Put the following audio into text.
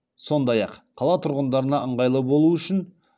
сондай ақ қала тұрғындарына ыңғайлы болу үшін